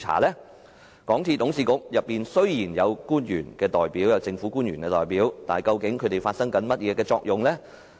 雖然港鐵公司董事局內有政府官員代表，但究竟他們發揮到甚麼作用呢？